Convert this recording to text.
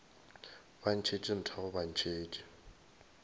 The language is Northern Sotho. ba ntšhetše nthago ba ntšhetše